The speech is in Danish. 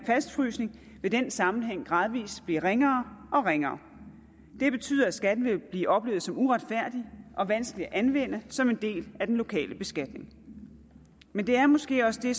fastfrysning vil den sammenhæng gradvis blive ringere og ringere det betyder at skatten vil blive oplevet som uretfærdig og vanskelig at anvende som en del af den lokale beskatning men det er måske også det